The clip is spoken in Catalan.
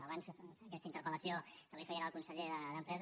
abans aquesta interpel·lació que feien al conseller d’empresa